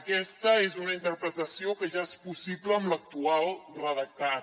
aquesta és una interpretació que ja és possible amb l’actual redactat